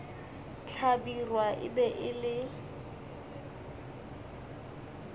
hlabirwa e be e le